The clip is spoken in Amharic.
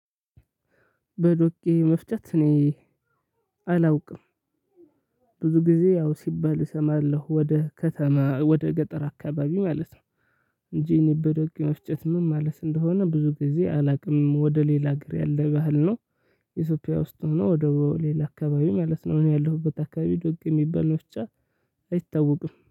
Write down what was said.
በዶቄ መፍጨት እኔ አላውቅም። ብዙ ጊዜ ያው ሲባል እሰማለሁ ወደ ከተማ ወደ ገጠር አካባቢ ማለት ነው እንጂ እኔ በዶቄ መፍጨት ምን ማለት እንደሆነ ብዙ ጊዜ አላውቅም። ወደ ሌላ ሀገር ያለ ባህል ነው። ኢትዮጵያ ውስጥ ሆኖ ወደ ሌላ አካባቢ ማለት ነው። እኔ ያለሁበት አካባቢ ዶቄ የሚባል መፍጫ አይታወቅም።